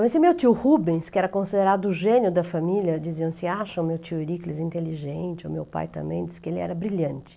Então, esse meu tio Rubens, que era considerado o gênio da família, diziam assim, acham meu tio Eurícles inteligente, o meu pai também, disse que ele era brilhante.